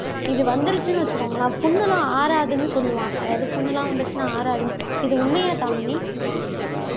இது வந்துருச்சுன்னு வச்சுக்கோங்களேன் புண்ணெல்லாம் ஆறாதுன்னு சொல்லுவாங்க அதாவது புண்ணெல்லாம் வந்துருச்சுன்னா ஆறாதுன்னு இது உண்மையா தாமினி